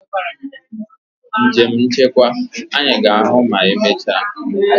Njem nchekwa! Anyị ga-ahụ ma emechaa.